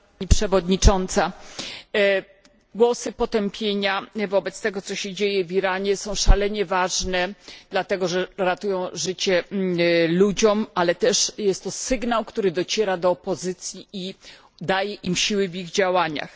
Pani przewodnicząca! Głosy potępienia wobec tego, co się dzieje w Iranie, są szalenie ważne, dlatego że ratują życie ludziom, ale jest to też sygnał, który dociera do opozycji i daje im siły w działaniach.